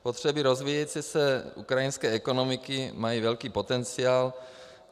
Potřeby rozvíjející se ukrajinské ekonomiky mají velký potenciál.